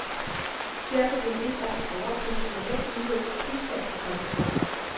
Derfor vil et års overpriser normalt udløse prisfald det kommende år.